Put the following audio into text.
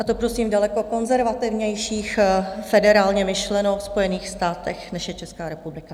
A to prosím v daleko konzervativnějších, federálně myšleno, Spojených státech, než je Česká republika.